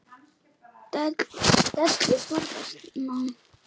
Dellu forðast má.